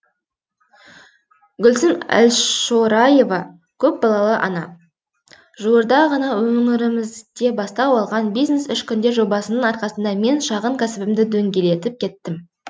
гүлсім әлшораева көпбалалы ана жуырда ғана өңірімізде бастау алған бизнес үш күнде жобасының арқасында мен шағын кәсібімді дөңгелетіп кеттім